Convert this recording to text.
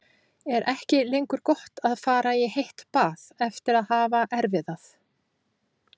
Er ekki lengur gott að fara í heitt bað eftir að hafa erfiðað?